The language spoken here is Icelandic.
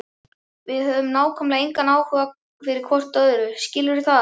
Við höfum nákvæmlega engan áhuga fyrir hvort öðru, skilurðu það?